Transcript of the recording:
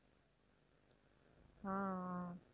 ஆஹ் ஆஹ்